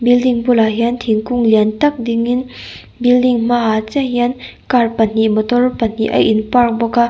building bulah hian thingkung lian tak dingin building hmaah chiah hian car pahnih motor pahnih a in park bawk a.